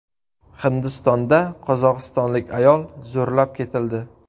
Hindistonda qozog‘istonlik ayol zo‘rlab ketildi.